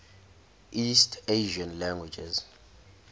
east asian languages